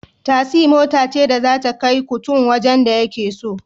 Tasi mota ce da zata kai kutun wajen da yake so